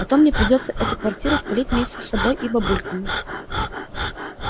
а то мне придётся эту квартиру спалить вместе с собой и бабульками